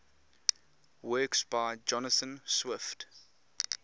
works by jonathan swift